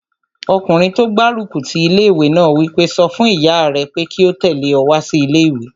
Ọkùnrin tó gbárùkù ti ilé-ìwé náà wí pé, "sọ fún ìyá rẹ pé kí ó tẹ̀lé ọ wá sí ilé-ìwé!"